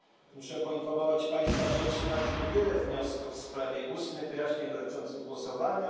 Muszę poinformować Państwa, że otrzymaliśmy wiele wniosków w sprawie ustnych wyjaśnień dotyczących głosowania.